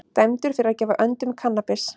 Dæmdur fyrir að gefa öndum kannabis